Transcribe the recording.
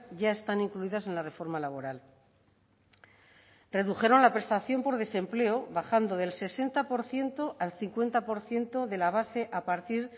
ya están incluidas en la reforma laboral redujeron la prestación por desempleo bajando del sesenta por ciento al cincuenta por ciento de la base a partir